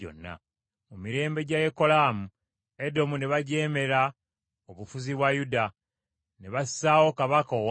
Mu mirembe gya Yekolaamu, Edomu ne bajeemera obufuzi bwa Yuda, ne bassaawo kabaka owaabwe.